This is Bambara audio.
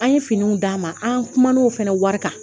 An ye finiw d'a ma an kuman'o fana wari kan